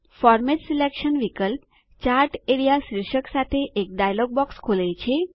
format selection વિકલ્પ chart A R E A શીર્ષક સાથે એક ડાયલોગ બોક્સ ખોલે છે